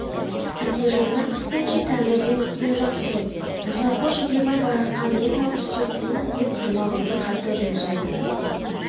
тәкежаннан күткенше тәңірден күткен жақсы ғой мұсақұл жидебай бараққа мен мал түсіртпеймін деп жұмағұлды қайта жұмсады